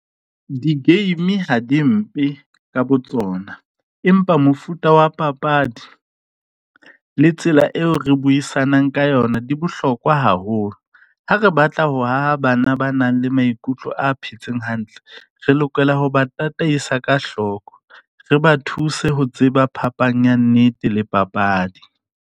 Di-game ha di mpe ka botsona, empa mofuta wa papadi le tsela eo re buisanang ka yona di bohlokwa haholo. Ha re batla ho haha bana ba nang le maikutlo a phetseng hantle, re lokela ho ba tataisa ka hloko. Re ba thuse ho tseba phapang ya nnete le papadi.